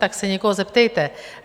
Tak se někoho zeptejte.